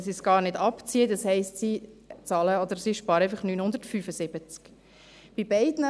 Bei 16 000 Franken könnten sie es gar nicht abziehen, das heisst, sie zahlen oder sparen einfach 975 Franken.